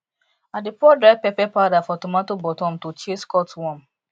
i dey pour dry pepper powder for tomato bottom to chase cutworm